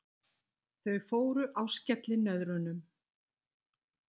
Þau fóru á skellinöðrunum.